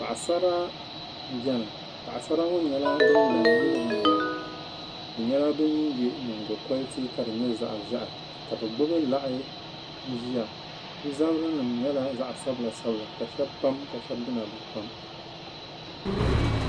Paɣi sara n beni. paɣisara ŋɔ nyɛla ban la n nyili bi nyina, bɛ nyala ban ye nyiŋgo koliti ka di nyɛ zaɣi ʒɛhi, ka gbubi lahi n ʒiya bɛ zabiri nim nyɛla zaɣi sabila sabila ka shabi pam ka shabi dina bɛ pam.